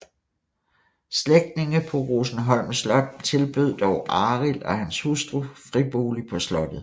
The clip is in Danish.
Slægtninge på Rosenholm Slot tilbød dog Arild og hans hustru fribolig på slottet